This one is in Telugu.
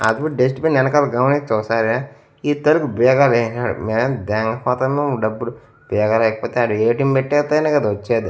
ఆగు డస్ట్ బిన్ వెనకాల గమనించు ఒకసారి ఇద్దరూ బీగాలు ఎస్నారు మే దేంగపోతును డబ్బులు బీగాలు వేయకపోతే ఆడ ఏ_టీ_ఎం పెట్టేస్తేనే కదా వచ్చేది.